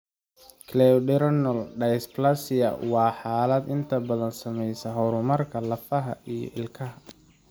Cleidocranial dysplasia waa xaalad inta badan saameeya horumarka lafaha iyo ilkaha.